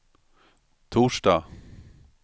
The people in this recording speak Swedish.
torsdag